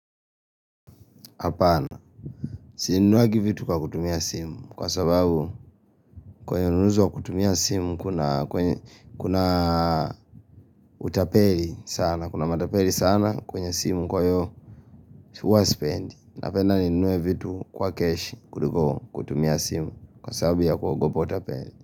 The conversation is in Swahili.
Apana, sininuagi vitu kwa kutumia simu, kwa sababu kwenye unuzo kutumia simu kuna utapeli sana, kuna matapeli sana kwenye simu kwa yo, tuwa spend, napenda ninuwe vitu kwa cash kutumia simu, kwa sababu ya kwa gobo utapeli.